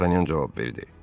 D'Artanyan cavab verdi.